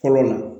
Fɔlɔ la